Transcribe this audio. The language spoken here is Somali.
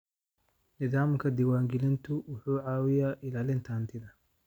Nidaamka diiwaangelintu wuxuu caawiyaa ilaalinta hantida.